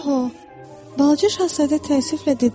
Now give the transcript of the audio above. Paho, Balaca şahzadə təəssüflə dedi: